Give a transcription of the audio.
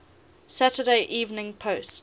saturday evening post